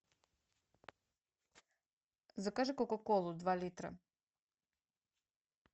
закажи кока колу два литра